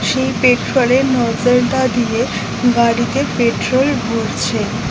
সেই পেট্রোল এর নজেল টা দিয়ে গাড়িতে পেট্রোল ভরছে।